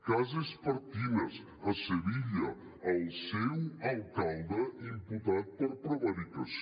cas espartinas a sevilla el seu alcalde imputat per prevaricació